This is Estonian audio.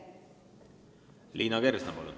Liina Kersna, palun!